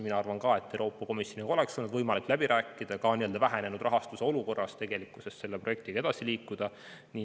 Mina arvan ka, et Euroopa Komisjoniga oleks olnud võimalik läbi rääkida, et vähenenud rahastuse olukorras selle projektiga edasi liikuda.